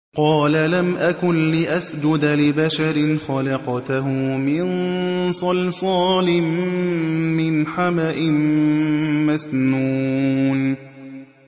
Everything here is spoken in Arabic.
قَالَ لَمْ أَكُن لِّأَسْجُدَ لِبَشَرٍ خَلَقْتَهُ مِن صَلْصَالٍ مِّنْ حَمَإٍ مَّسْنُونٍ